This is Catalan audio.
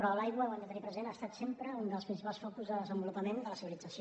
però l’aigua ho hem de tenir present ha estat sempre un dels principals focus de desenvolupament de la civilització